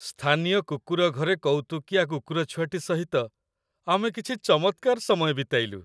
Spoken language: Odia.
ସ୍ଥାନୀୟ କୁକୁର ଘରେ କୌତୁକିଆ କୁକୁରଛୁଆଟି ସହିତ ଆମେ କିଛି ଚମତ୍କାର ସମୟ ବିତାଇଲୁ।